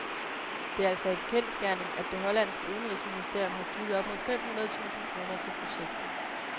Det er altså en kendsgerning, at det hollandske udenrigsministerium har givet op mod fem hundrede tusind kroner til projektet.